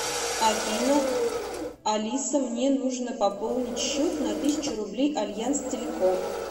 афина алиса мне нужно пополнить счет на тысячу рублей альянс телеком